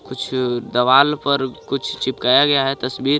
कुछ दवाल पर कुछ चिपकाया गया हे तस्बीर.